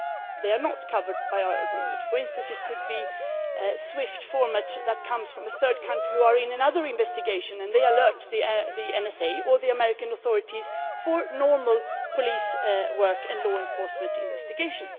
They are not covered by our agreement. For instance, it could be a SWIFT format that comes from a third country which is in another investigation, and they alert the NSA or the American authorities for normal police work and law enforcement investigation.